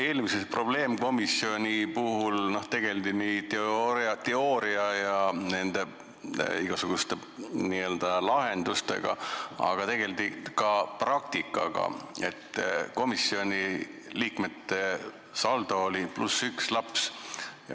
Eelmises probleemkomisjonis tegeldi teooria ja igasuguste lahendustega, aga tegeldi ka praktikaga: komisjoni liikmete saldo oli +1 laps.